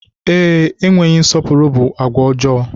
Ee, enweghị nsọpụrụ bụ àgwà ọjọọ.